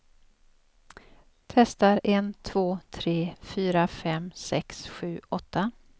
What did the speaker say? Testar en två tre fyra fem sex sju åtta.